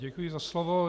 Děkuji za slovo.